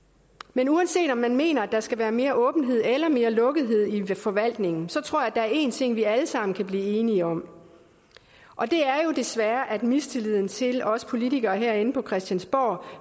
men uanset om man mener at der skal være mere åbenhed eller mere lukkethed i forvaltningen tror er én ting vi alle sammen kan blive enige om og det er jo desværre at mistilliden til os politikere herinde på christiansborg